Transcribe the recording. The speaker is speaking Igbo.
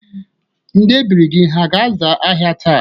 Ndị ebiri gị ha ga-aza ahịa taa?